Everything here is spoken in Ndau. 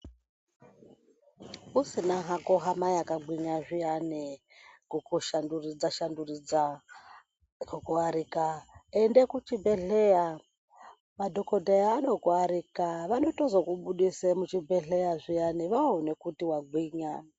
Usina hako hama yakagwinya zviyani kukushanduridza-shanduridza kukuarika, ende kuchibhedhleya. Madhokodheya anokuarika vanotozokubudise muchibhedhleya zviyani vaone kuti wagwinya.